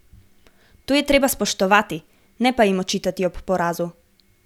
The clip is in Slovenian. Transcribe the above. To je treba spoštovati, ne pa jim očitati ob porazu.